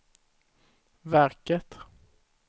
verket